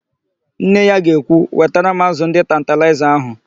Nne ya ga-ekwu, "wetara m ázụ̀ ndị tantalaịza ahụ"!